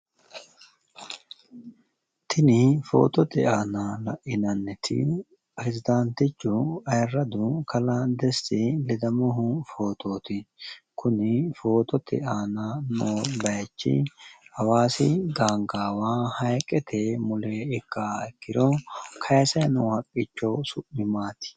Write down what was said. tini footote aana la'inanniti piresdaantichu ayiirradu kalaa deti ledamohu fotooti kuni footote aana noo bayiichi hawaasi gaangaawa hayiiqete mule ikkaaha ikkiro kayiisanni noo haqqicho su'mi maati?